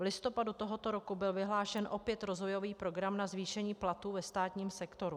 V listopadu tohoto roku byl vyhlášen opět rozvojový program na zvýšení platů ve státním sektoru.